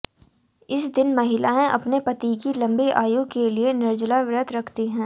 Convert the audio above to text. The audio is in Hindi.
इस दिन महिलाएं अपने पति की लम्बी आयु के लिए निर्जला व्रत रखती हैं